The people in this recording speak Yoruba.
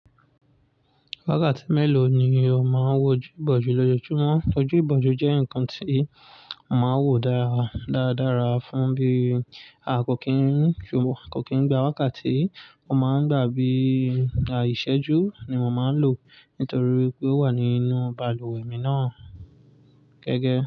Wákàtí mélòó ni o máa ń wojú ìbòjú lójoójúmọ́? Ojú ìbòjú jẹ́ ǹkan tí mo máa ń wò dára, dáadára fún bí a kò kín ń, a kò kín ń gba wákàtí. Wọ́n máa ń gbà bí i à, ìṣẹ́jú ni mo máa ń lò nítorí pé ó wà nínú balùwẹ̀ mi náà gẹ́gẹ́.